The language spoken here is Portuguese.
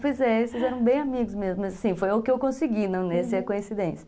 Pois é, eles eram bem amigos mesmo, mas assim, foi o que eu consegui, não ia ser coincidência.